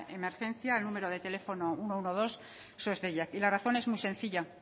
emergencias al número de teléfono ehun eta hamabi sos deiak y la cuestión es muy sencilla